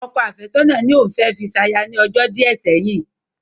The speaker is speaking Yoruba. Ọkọ àfẹ́sọ̀nà ní òun fẹ́ fi ṣaya ní ọjọ́ díẹ̀ sẹ́yìn